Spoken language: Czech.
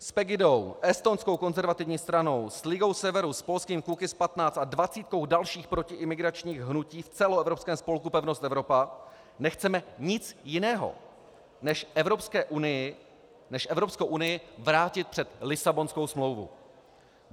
S Pegidou, Estonskou konzervativní stranou, s Ligou severu, s polským Kukiz’15 a dvacítkou dalších protiimigračních hnutí v celoevropském spolku Pevnost Evropa nechceme nic jiného než Evropskou unii vrátit před Lisabonskou smlouvu.